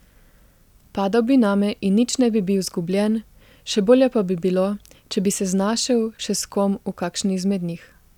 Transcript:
Padal bi name in nič ne bi bil zgubljen, še bolje pa bi bilo, če bi se znašel še s kom v kakšni izmed njih.